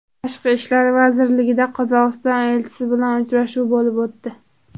Tashqi ishlar vazirligida Qozog‘iston elchisi bilan uchrashuv bo‘lib o‘tdi.